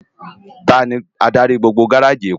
Táni ádári gbógbó gáráji Ékó?